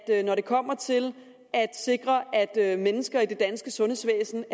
med når det kommer til at sikre at at mennesker i det danske sundhedsvæsen